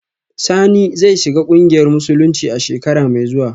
Sani zai shiga kungiyar musulunci a shekara mai zuwa